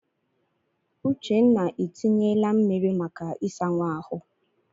Uchenna etinyela mmiri maka ịsa nwa ahụ.